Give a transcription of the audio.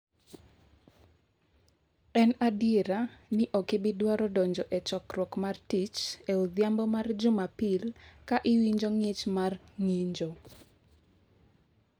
En adier ni ok ibi dwaro donjo e chokruok mar tich e odhiambo mar Jumapil ka iwinjo ng’ich mar ng’injo.